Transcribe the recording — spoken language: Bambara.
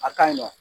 A ka ɲi nɔ